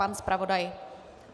Pan zpravodaj?